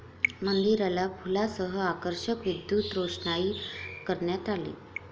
मंदिराला फुलांसह आकर्षक विद्युतरोषणाई करण्यात आली.